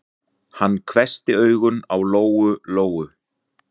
Hann hvessti augun á Lóu-Lóu.